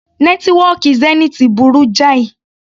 Nẹ́tíwọ́kì Zenith burú jáì.